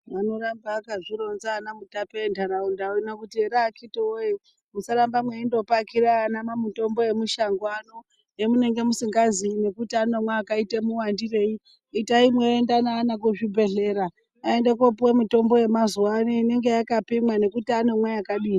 Vanoramba akazvironza ana Mutape enharaunda uno kuti ere akiti woye musaramba mweyindopakira ana mamitombo emushango ano emunenge musingaziyi nekuti anomwe akaita muwandirei itai mweienda neana kuzvibhedhlera aende kopuwa mitombo yemazuwaano inenge yakapimwa nekuti anomwe yakadini.